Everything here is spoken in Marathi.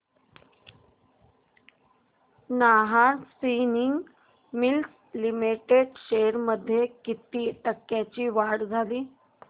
Nahar spinning mills limited shares मध्ये किती टक्क्यांची वाढ झाली